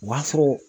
U b'a fɔ